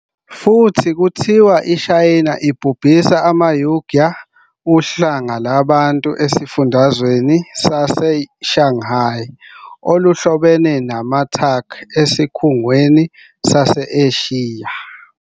Futhi kuthiwa iShayina ibhubhisa amaUigyur, uhlanga lwabantu esifundazwe saseXinjiang oluhlobene namaTurk asesiKhungweni sase-Eshiya.